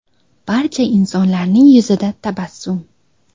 Barcha insonlarning yuzida tabassum.